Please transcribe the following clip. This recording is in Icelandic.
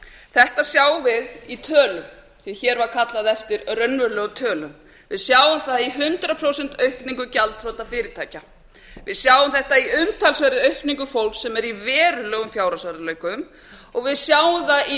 þetta sjáum við í tölum sem hér var kallað eftir raunverulegum tölum við sjáum það í hundrað prósent aukningu gjaldþrota fyrirtækja við sjáum þetta í umtalsverðri aukningu fólks sem er í verulegum fjárhagsörðugleikum og við sjáum það í